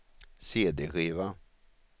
cd-skiva